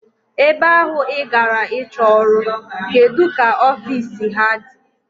Ebe ahụ I gara ịchọ ọrụ, kedụ ka ofiisi ha dị?